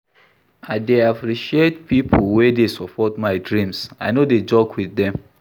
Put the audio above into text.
I dey appreciate pipo wey dey support my dreams, I no dey joke wit dem.